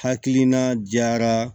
Hakilina jara